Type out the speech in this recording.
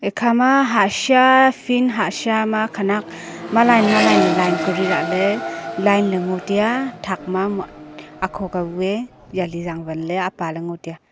khama hahsha field hahsha ma khanak ma line ma line le line kori lahle line le ngo tai a thak ma akho ka bu e yali zangwan apa le ngo tai a.